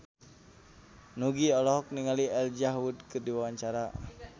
Nugie olohok ningali Elijah Wood keur diwawancara